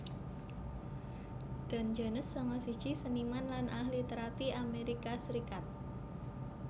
Don Jones sanga siji seniman lan ahli térapi Amerika Serikat